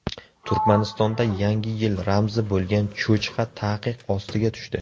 Turkmanistonda Yangi yil ramzi bo‘lgan cho‘chqa taqiq ostiga tushdi.